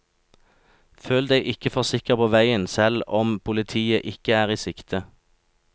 Føl deg ikke for sikker på veien selv om politiet ikke er i sikte.